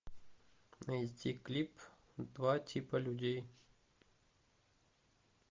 найти клип два типа людей